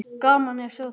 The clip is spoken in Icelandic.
Gaman að sjá þig.